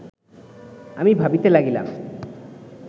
আমি ভাবিতে লাগিলাম